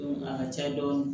A ka ca dɔɔni